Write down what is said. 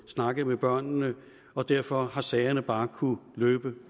snakket med børnene og derfor har sagerne bare kunnet løbe